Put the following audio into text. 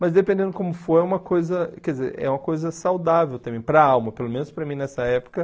Mas dependendo como for, é uma coisa quer dizer é uma coisa saudável também, para a alma, pelo menos para mim nessa época.